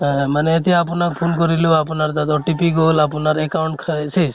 অহ মানে এতিয়া আপোনাক phone কৰিলো, আপোনাৰ তাত OTP গল , আপোনাৰ account কা শেষ।